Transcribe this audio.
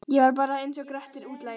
Ég var bara einsog Grettir útlagi.